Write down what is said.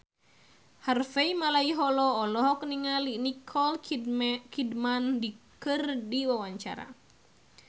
Harvey Malaiholo olohok ningali Nicole Kidman keur diwawancara